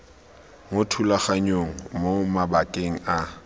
mo thulaganyong mo mabakeng a